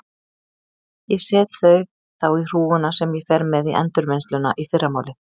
Ég set þau þá í hrúguna sem ég fer með í endurvinnsluna í fyrramálið.